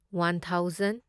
one thousand